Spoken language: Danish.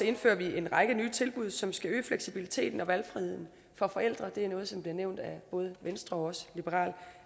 indfører vi en række nye tilbud som skal øge fleksibiliteten og valgfriheden for forældre og det er noget som også blev nævnt af både venstre og liberal